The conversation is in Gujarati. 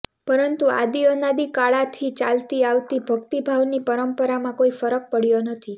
પરંતુ આદીઅનાદી કાળાથી ચાલતી આવતી ભક્તિભાવની પરંપરામાં કોઈ ફરક પડયો નથી